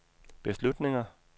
beslutninger